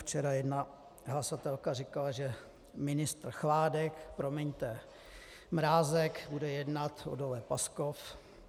Včera jedna hlasatelka říkala, že ministr Chládek, promiňte Mrázek, bude jednat o dole Paskov.